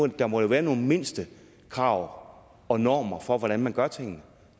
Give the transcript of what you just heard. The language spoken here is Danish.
der må jo være nogle mindstekrav og normer for hvordan man gør tingene